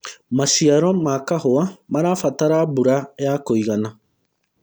maciaro ma kahũa marabatara mbura ya kũigana